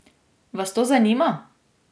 Vas to zanima ?